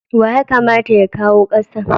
Wa ya kamata ya kawo kasan?